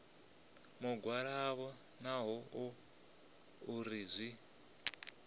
mugwalabo naho hu uri zwi